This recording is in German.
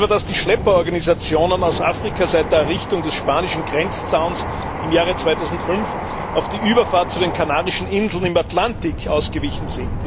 So sind beispielsweise die Schlepperorganisationen aus Afrika seit der Errichtung des spanischen Grenzzauns im Jahre 2005 auf die Überfahrt zu den Kanarischen Inseln im Atlantik ausgewichen.